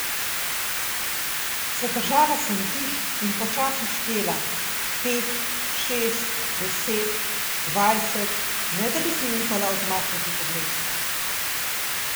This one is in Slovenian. Zadržala sem dih in počasi štela, pet, šest, deset, dvajset, ne da bi si upala odmakniti pogled.